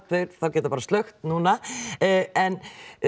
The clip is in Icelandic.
geta bara slökkt núna en